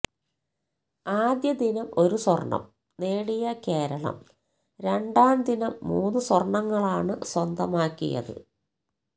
ആദ്യദിനം ഒരു സ്വര്ണം നേടിയ കേരളം രണ്ടാംദിനം മൂന്നു സ്വര്ണങ്ങളാണ് സ്വന്തമാക്കിയത്